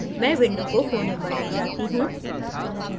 मैं window को कोने पर let जाता हूँ